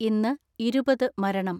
ഇന്ന് ഇരുപത് മരണം.